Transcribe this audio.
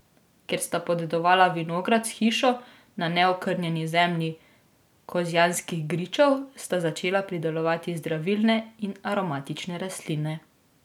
Ker sta podedovala vinograd s hišo na neokrnjeni zemlji kozjanskih gričev, sta začela pridelovati zdravilne in aromatične rastline.